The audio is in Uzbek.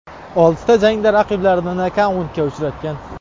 Oltida jangda raqiblarini nokautga uchratgan.